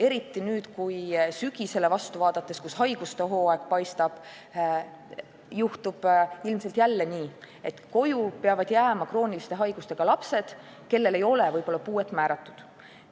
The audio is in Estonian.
Eriti nüüd, kui sügisele vastu vaadates, kus haiguste hooaeg paistab, juhtub ilmselt jälle nii, et koju peavad jääma krooniliste haigustega lapsed, kellele võib-olla ei ole puuet määratud.